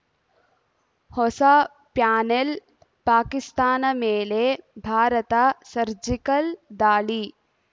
ಹೊಸ ಪ್ಯಾನೆಲ್‌ ಪಾಕಿಸ್ತಾನ ಮೇಲೆ ಭಾರತ ಸರ್ಜಿಕಲ್‌ ದಾಳಿ